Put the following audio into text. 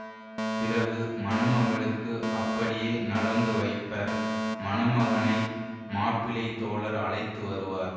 பிறகு மணமகளுக்கு அப்படியே நலங்கு வைப்பர் மணமகனை மாப்பிள்ளைத் தோழர் அழைத்து வருவார்